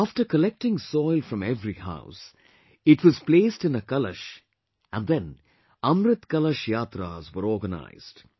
After collecting soil from every house, it was placed in a Kalash and then Amrit Kalash Yatras were organized